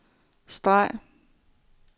streg